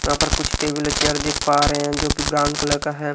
वहां पर कुछ टेबल चेयर दिख पा रहे हैं जोकि ब्राउन कलर का है।